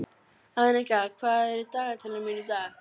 Annika, hvað er í dagatalinu mínu í dag?